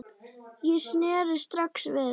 Ég sneri strax við.